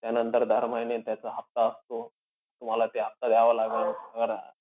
त्यानंतर दर महिने त्याचा हफ्ता असतो. तुम्हाला ते हफ्ता द्यावा लागेल.